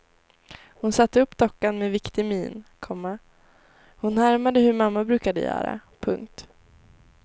Hon satte upp dockan med viktig min, komma hon härmade hur mamma brukade göra. punkt